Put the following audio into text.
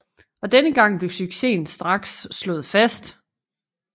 Og denne gang blev successen straks slået fast